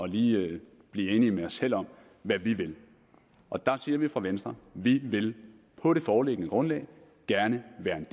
lige at blive enige med os selv om hvad vi vil og der siger vi fra venstre vi vil på det foreliggende grundlag gerne være en